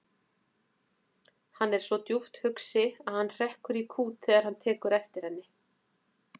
Hann er svo djúpt hugsi að hann hrekkur í kút þegar hann tekur eftir henni.